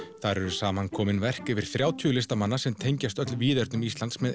þar eru samankomin verk þrjátíu listamanna sem tengjast öll víðernum Íslands með